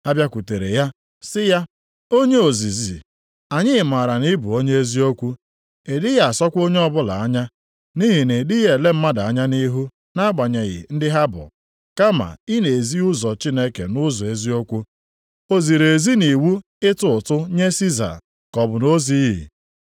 Ha bịakwutere ya, sị ya, “Onye ozizi, anyị maara na ị bụ onye eziokwu, ị dịghị asọkwa onye ọbụla anya, nʼihi na ị dịghị ele mmadụ anya nʼihu nʼagbanyeghị ndị ha bụ, kama ị na-ezi ụzọ Chineke nʼụzọ eziokwu. O ziri ezi nʼiwu ịtụ ụtụ nye Siza + 12:14 Nke a bụ ụtụ a na-ekenye ndị na-abụghị diala obodo Rom ka ha kwụọ. ka ọ bụ na o zighị ezi?